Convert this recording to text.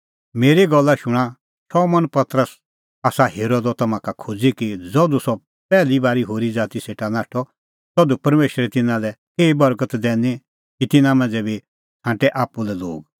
मेरी गल्ला शूणां शमौन पतरसै आसा हेरअ द तम्हां का खोज़ी कि ज़धू सह पैहली बारी होरी ज़ाती सेटा नाठअ तधू परमेशरै तिन्नां लै केही बर्गत दैनी कि तिन्नां मांझ़ै बी छ़ांटै आप्पू लै लोग